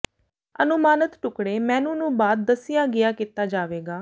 ਅਨੁਮਾਨਿਤ ਟੁਕਡ਼ੇ ਮੇਨੂ ਨੂੰ ਬਾਅਦ ਦੱਸਿਆ ਗਿਆ ਕੀਤਾ ਜਾਵੇਗਾ